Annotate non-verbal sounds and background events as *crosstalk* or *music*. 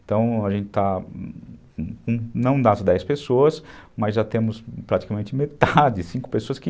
Então, a gente está não nas dez pessoas, mas já temos praticamente metade, *laughs* cinco pessoas que...